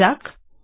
দেওয়া যাক